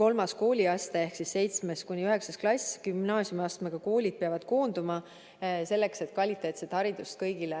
kolmas kooliaste ehk 7.–9. klass ja gümnaasiumiastmega koolid peavad koonduma, et võimaldada kõigile kvaliteetset haridust.